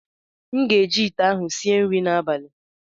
Aga m eji ite ahụ sie nri n'abalị